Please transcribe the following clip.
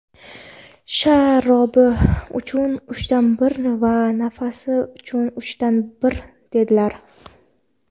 sha-robi uchun uchdan bir va nafasi uchun uchdan bir", dedilar".